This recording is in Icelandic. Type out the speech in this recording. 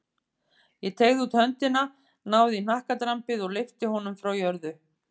Ég teygði út höndina, náði í hnakkadrambið og lyfti honum frá jörðu.